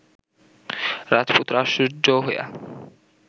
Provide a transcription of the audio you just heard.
রাজপুত্র আশ্চর্য হইয়া